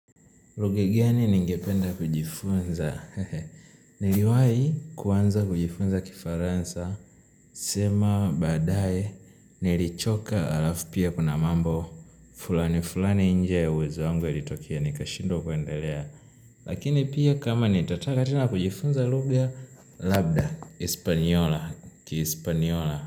Lugha gani ningependa kujifunza, niliwai kuanza kujifunza kifaransa, sema baadaye, nilichoka halafu pia kuna mambo, fulani fulani nje ya uwezo wangu ya litokea ni kashindwa kuendelea, lakini pia kama nitataka tena kujifunza lugha, labda, hispaniola, kihispaniola.